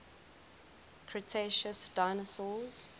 cretaceous dinosaurs